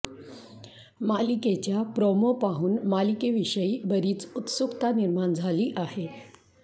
मालिकेच्या प्रोमो पाहून मालिकेविषयी बरीच उत्सुकता निर्माण झाली आहे